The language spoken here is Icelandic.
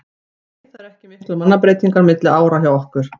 Nei það eru ekki miklar mannabreytingar milli ára hjá okkur.